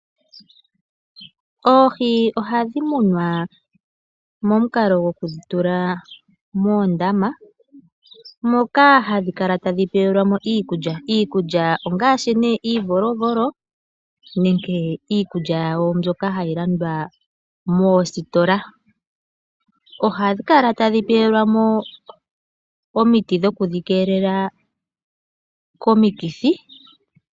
Oohi ohadhi munwa momukalo goku tulwa moondama moka hadhi kala tadhi pewelwa mo iikulya, iikulya ongaashi nee iivolovolo nenge iikulya mbyoka hayi landwa moositola. Ohadhi kala tadhi pewelwa mo omiti dhokwiikeelela komikithi.